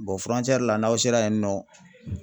la n'aw sera yen nɔ